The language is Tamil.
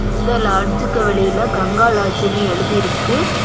இந்த லாட்ஜுக்கு வெளியில கங்கா லாட்ஜ்னு ஆச்சுன்னு எழுதி இருக்கு.